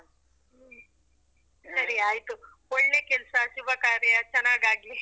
ಹ್ಮ್ ಸರಿ ಆಯ್ತು, ಒಳ್ಳೆ ಕೆಲ್ಸ ಶುಭ ಕಾರ್ಯ ಚನ್ನಾಗಾಗ್ಲಿ .